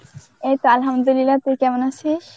এই তো Arbi তুই কেমন আছিস?